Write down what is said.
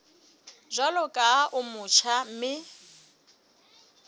jwalo ka o motjha mme